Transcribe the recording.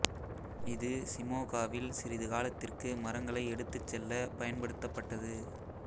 இது சிமோகாவில் சிறிது காலத்திற்கு மரங்களை எடுத்துச் செல்ல பயன்படுத்தப்பட்டது